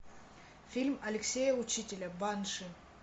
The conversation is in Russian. фильм алексея учителя банши